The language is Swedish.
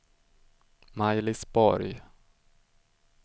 Maj-Lis Borg